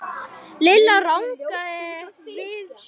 Lilla rankaði við sér.